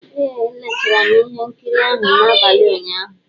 Ee, leechara m ihe nkiri ahụ n'abalị ụnyaahụ.